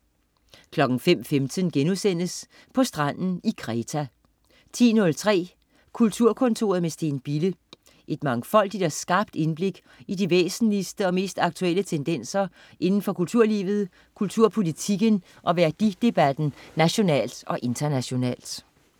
05.15 På stranden i Kreta* 10.03 Kulturkontoret med Steen Bille. Et mangfoldigt og skarpt indblik i de væsentligste og mest aktuelle tendenser indenfor kulturlivet, kulturpolitikken og værdidebatten nationalt og internationalt